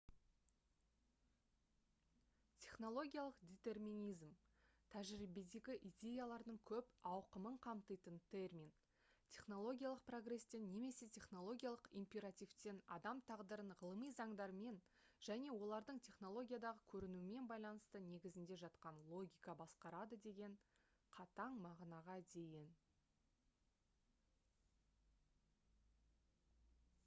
технологиялық детерминизм тәжірибедегі идеялардың көп ауқымын қамтитын термин технологиялық прогрестен немесе технологиялық императивтен адам тағдырын ғылыми заңдармен және олардың технологиядағы көрінуімен байланысты негізінде жатқан логика басқарады деген қатаң мағынаға дейін